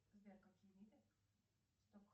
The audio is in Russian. сбер какие виды сток